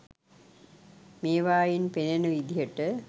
මේවායින් පෙනෙන විදියට